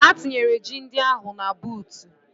Ha tinyere ji ndị ahụ na buutu.